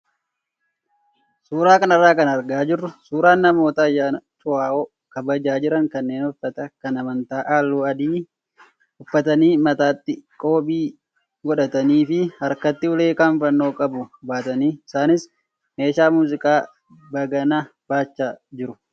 Suuraa kanarraa kan argaa jirru suuraa namoota ayyaana cuuohaa kabajaa jiran kanneen uffata kan amantaa halluu adii uffatanii mataatti qoobii godhatanii fi harkatti ulee kan fannoo qabu baataniitu. Isaanis meeshaa muuziqaa baganaa baachaa jiru.